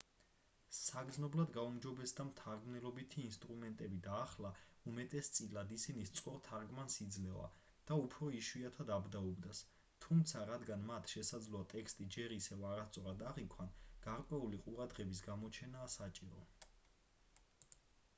საგრძნობლად გაუმჯობესდა მთარგმნელობითი ინსტრუმენტები და ახლა უმეტესწილად ისინი სწორ თარგმანს იძლევა და უფრო იშვიათად აბდაუბდას თუმცა რადგან მათ შესაძლოა ტექსტი ჯერ ისევ არასწორად აღიქვან გარკვეული ყურადღების გამოჩენაა საჭირო